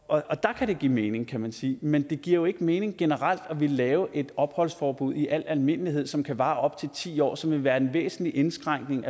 og der kan det give mening kan man sige men det giver jo ikke mening at ville lave et opholdsforbud i al almindelighed som kan vare i op til ti år som vil være en væsentlig indskrænkning